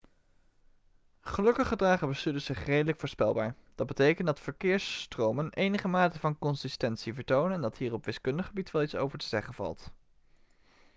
gelukkig gedragen bestuurders zich redelijk voorspelbaar dat betekent dat verkeersstromen enige mate van consistentie vertonen en dat hier op wiskundig gebied wel iets over te zeggen valt